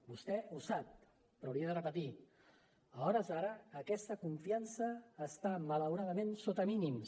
vostè ho sap però li he de repetir a hores d’ara aquesta confiança està malauradament sota mínims